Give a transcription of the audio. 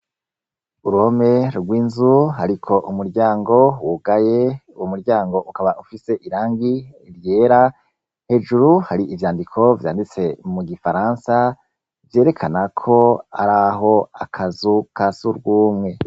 Urome rw'inzu, ariko umuryango wugaye wo muryango ukaba ufise irangi ryera hejuru hari ivyandiko vyanditse mu gifaransa vyerekana ko ari aho akazuka surwumwe.